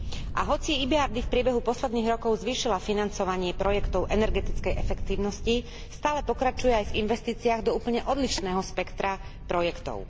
A hoci EBRD v priebehu posledných rokov zvýšila financovanie projektov energetickej efektívnosti, stále pokračuje aj v investíciách do úplne odlišného spektra projektov.